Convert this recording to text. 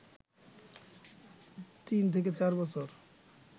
তিন থেকে চার বছর